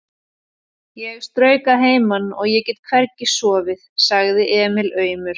Ég strauk að heiman og ég get hvergi sofið, sagði Emil aumur.